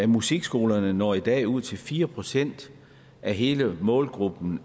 musikskolerne når i dag ud til fire procent af hele målgruppen